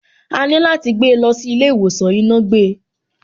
Àní láti gbé lọ sí ilé ìwòsàn, iná gbe.